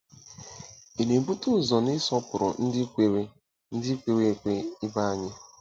Ị na-ebute ụzọ n'ịsọpụrụ ndị kwere ndị kwere ekwe ibe anyị?